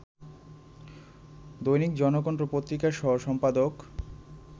দৈনিক জনকণ্ঠ পত্রিকা সহ-সম্পাদক